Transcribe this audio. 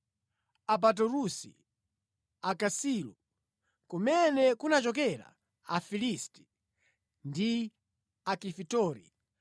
Apaturusi, Akasilu (kumene kunachokera Afilisti) ndi Akafitori.